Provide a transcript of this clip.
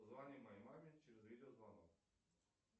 позвони моей маме через видеозвонок